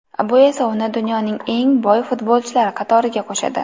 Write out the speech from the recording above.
Bu esa uni dunyoning eng boy futbolchilari qatoriga qo‘shadi.